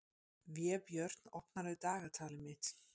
Vébjörn, opnaðu dagatalið mitt.